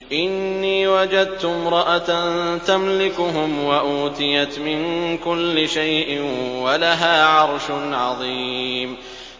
إِنِّي وَجَدتُّ امْرَأَةً تَمْلِكُهُمْ وَأُوتِيَتْ مِن كُلِّ شَيْءٍ وَلَهَا عَرْشٌ عَظِيمٌ